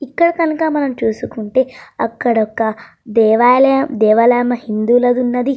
ఇక్కడ కనుక మనం చూసుకుంటే అక్కడ ఒక దేవాలయము దేవాలయం హిందువు లాగా ఉన్నది.